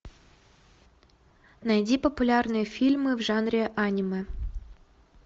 найди популярные фильмы в жанре аниме